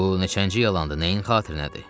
Bu neçənci yalandır, nəyin xatirinədir?